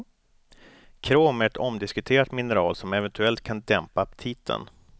Krom är ett omdiskuterat mineral som eventuellt kan dämpa aptiten.